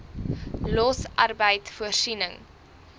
los arbeid voorsiening